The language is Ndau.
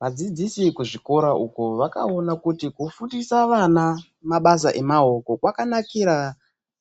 Vadzidzisi kuzvikora uko vakaona kuti kufundisa vana mabasa emaoko kwakanakira